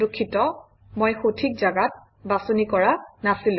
দুখিত মই সঠিক অৱস্থিতিটো বাছনি কৰা নাছিলো